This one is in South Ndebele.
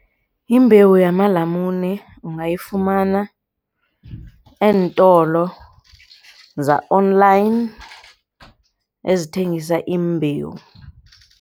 Imbewu yamalamune ungayifumana eentolo za-online ezithengisa iimbewu.